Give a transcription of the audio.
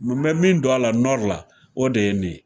N mɛ min don a la la o de ye nin ye